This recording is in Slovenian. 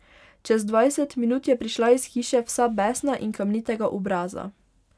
Čez dvajset minut je prišla iz hiše vsa besna in kamnitega obraza.